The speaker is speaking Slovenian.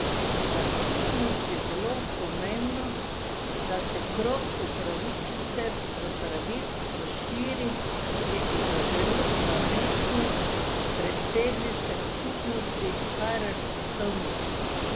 Za skupnost je zelo pomembno, da se krog upravičencev do pravic razširi, je opozoril namestnik predsednice skupnosti Karl Destovnik.